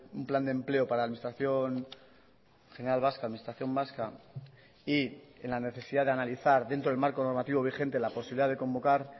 un plan de empleo para la administración general vasca administración vasca y en la necesidad de analizar dentro del marco normativo vigente la posibilidad de convocar